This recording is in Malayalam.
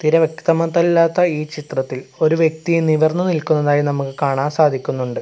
തീരെ വ്യക്തമതല്ലാത്ത ഈ ചിത്രത്തിൽ ഒരു വ്യക്തിയെ നിവർന്നു നിൽക്കുന്നതായി നമുക്ക് കാണാൻ സാധിക്കുന്നുണ്ട്.